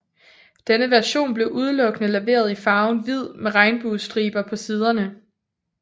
Denne version blev udelukkende leveret i farven hvid med regnbuestriber på siderne